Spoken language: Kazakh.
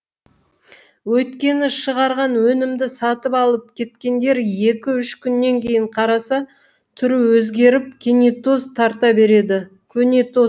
өйткені шығарған өнімді сатып алып кеткендер екі үш күннен кейін қараса түрі өзгеріп көнетоз тарта береді